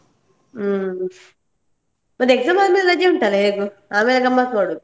ಹ್ಮ್, ಮತ್ತೆ exam ಆದ್ಮೇಲೆ ರಜೆ ಉಂಟಾಲ್ಲ ಹೇಗೂ ಆಮೇಲೆ ಗಮ್ಮತ್ ಮಾಡು.